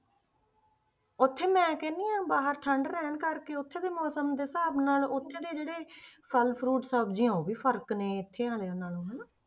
ਉੱਥੇ ਮੈਂ ਕਹਿੰਦੀ ਹਾਂ ਬਾਹਰ ਠੰਢ ਰਹਿਣ ਕਰਕੇ ਉੱਥੇ ਦੇ ਮੌਸਮ ਦੇ ਹਿਸਾਬ ਨਾਲ ਉੱਥੇ ਦੇ ਜਿਹੜੇ ਫਲ fruit ਸਬਜ਼ੀਆਂ ਉਹ ਵੀ ਫ਼ਰਕ ਨੇ ਇੱਥੇ ਵਾਲਿਆਂ ਨਾਲੋਂ ਹਨਾ।